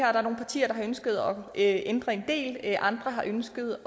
er nogle partier der har ønsket at ændre en del andre har ønsket